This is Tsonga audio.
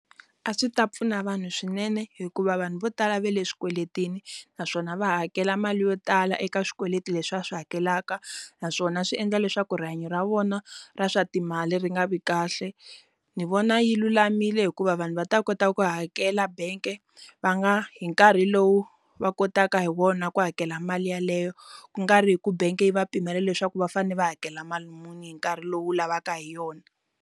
A swi ta pfuna vanhu swinene hikuva vanhu vo tala ve le swikweletini naswona va ha hakela mali yo tala eka swikweleti leswi va swi hakelaka naswona swi endla leswaku rihanyo ra vona ra swa timali ri nga vi kahle ni vona yi lulamile hikuva vanhu va ta kota ku hakela bank va nga hi nkarhi lowu va kotaka hi wona ku hakela mali yeleyo kungari hi ku bank yi va pimela leswaku va fane va hakela mali muni hi nkarhi lowu lavaka hi yona.